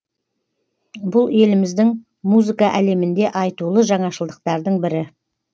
бұл еліміздің музыка әлемінде айтулы жаңашылдықтардың бірі